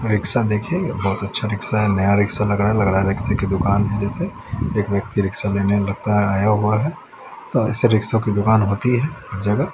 Rickshaw देखिए बहुत अच्छा रिक्शा है नया रिक्शा लग रहा है लग रहा है रिक्शे की दुकान है जैसे एक व्यक्ति रिक्शा लेने लगता आया हुआ है तो ऐसे रिक्शो की दुकान होती है जगह।